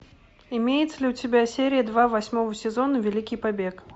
имеется ли у тебя серия два восьмого сезона великий побег